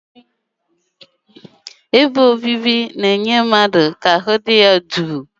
Ebe obibi na-enye ezigbo ahụmịhe ọdịnala yana nghọta mpaghara.